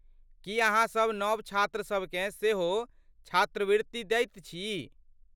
की अहाँसभ नव छात्रसभ केँ सेहो छात्रवृत्ति दैत छी?